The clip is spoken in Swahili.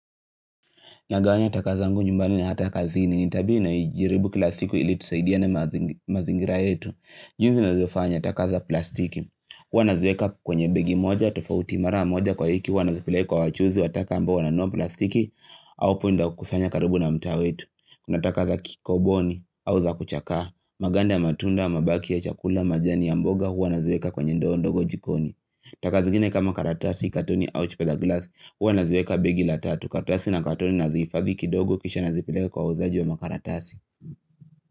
Nagawanya taka zangu nyumbani ni hata kazini ni tabia naijiribu kila siku ili tusaidiane mazingi mazingira yetu. Jinsi ninavyofanya taka za plastiki. Huwa nazieka kwenye begi moja, tofauti mara moja kwa hiki. Hua nazipeleka kwa wajuzi, wa taka ambao wananunua plastiki. Au punda wa kusanya karibu na mtaa wetu. Kuna taka za kikoboni, au za kuchakaa. Maganda ya matunda, mabaki ya chakula, majani ya mboga huwa nazieka kwenye ndoo ndogo jikoni. Taka zingine kama karatasi, katoni, au chupa za glasi. Huwa naziweka begi la tatu karatasi na katoni nazihifadhi kidogo kisha nazipileka kwa wauzaji wa makaratasi.